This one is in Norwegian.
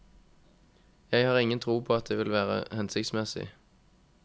Jeg har ingen tro på at det vil være hensiktsmessig.